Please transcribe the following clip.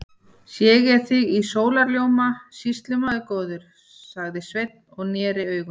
Sé ég þig í sólarljóma, sýslumaður góður, sagði Sveinn og neri augun.